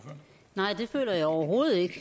ikke